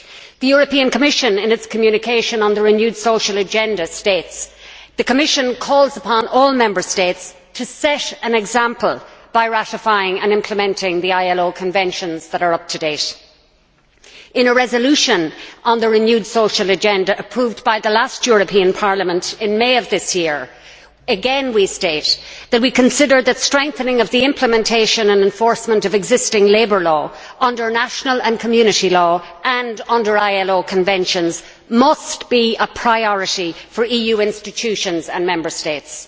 The European Commission, in its communication on the renewed social agenda, states The Commission calls upon all Member States to set an example by ratifying and implementing the ILO conventions that are up to date'. In a resolution on the renewed Social Agenda approved by the last European Parliament in May of this year, again we state that we consider that strengthening of the implementation and enforcement of existing labour law under national and community law and under ILO conventions must be a priority for EU institutions and Member States.